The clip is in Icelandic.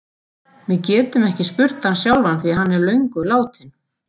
Við getum ekki spurt hann sjálfan því hann er löngu látinn.